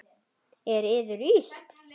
Er yður illt?